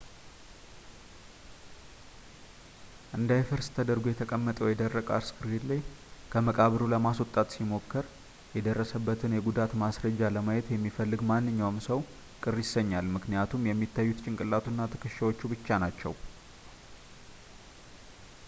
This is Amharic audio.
እንዳይፈርስ ተደርጎ የተቀመጠው የደረቀ አስክሬን ላይ ከመቃብሩ ለማስወጣት ሲሞከር የደረሰበትን የጉዳት ማስረጃ ለማየት የሚፈልግ ማንኛውም ሰው ቅር ይሰኛል ምክኒያቱም የሚታዩት ጭንቅላቱ እና ትከሻዎቹ ብቻ ናቸው